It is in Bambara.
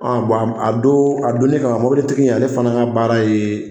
a don a donnin kama mobilitigi ale fana ka baara ye